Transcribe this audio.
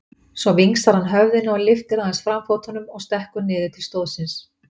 Svo vingsar hann höfðinu og lyftir aðeins framfótunum og stekkur niður til stóðsins.